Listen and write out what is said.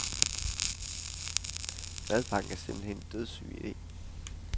Madpakken er simpelthen en dødssyg ide.